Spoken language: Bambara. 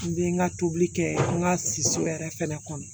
N bɛ n ka tobili kɛ n ka so yɛrɛ fɛnɛ kɔnɔ